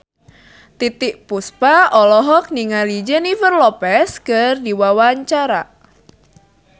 Titiek Puspa olohok ningali Jennifer Lopez keur diwawancara